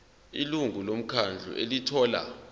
ilungu lomkhandlu elithola